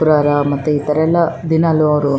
ಶುಕ್ರವಾರ ಮತ್ತೆ ಈತರ ಎಲ್ಲ ದಿನಾಲೂ ಅವ್ರು-